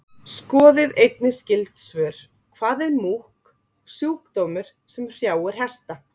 Skoðið einnig skyld svör: Hvað er múkk, sjúkdómur sem hrjáir hesta?